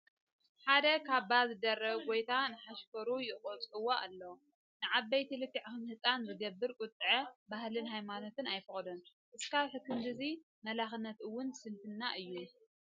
ሓደ ካባ ዝደረበ ጐይታ ንሓሻክሩ ይቑጥዖም ኣሎ፡፡ ንዓበይቲ ልክዕ ከም ህፃን ዝገብር ቁጥዐ ባህልናን ሃይማኖትናን ኣይፈቕዶን፡፡ እስካዕ ክንድዚ መላኽነት እውን ስንፍና እዩ፡፡